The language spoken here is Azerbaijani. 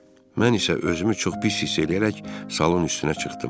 Mən isə özümü çox pis hiss eləyərək salın üstünə çıxdım.